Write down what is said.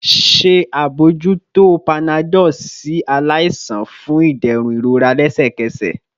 Ṣe abojuto panadol si alaisan fun iderun irora lẹsẹkẹsẹ